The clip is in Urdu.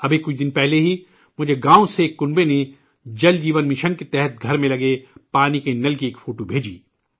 ابھی کچھ دن پہلے ہی مجھے گاؤں سے ایک پریوار نے 'جل جیون مشن' کے تحت گھر میں لگے پانی کے نل کی ایک فوٹو بھیجی